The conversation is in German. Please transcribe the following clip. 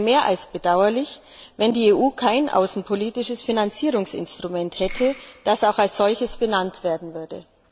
Es wäre mehr als bedauerlich, wenn die EU kein außenpolitisches Finanzierungsinstrument hätte, das auch als solches benannt werden würde.